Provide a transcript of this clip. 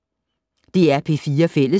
DR P4 Fælles